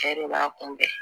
Cɛ de b'a kunbɛn